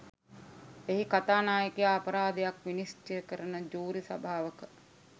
එහි කථානායකයා අපරාධයක් විනිශ්චය කරන ජූරි සභාවක